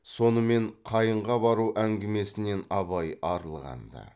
сонымен қайынға бару әңгімесінен абай арылған ды